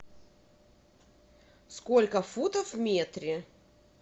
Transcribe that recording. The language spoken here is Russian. сколько футов в метре